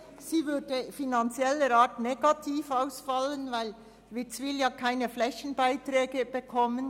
Sie würde finanziell negativ ausfallen, weil Witzwil keine Flächenbeiträge erhält.